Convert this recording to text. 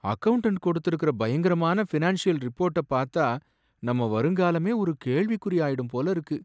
Accountant கொடுத்திருக்கிற பயங்கரமான financial ரிப்போர்ட்ட பாத்தா நம்ம வருங்காலமே ஒரு கேள்விக்குறி ஆயிடும் போல இருக்கு.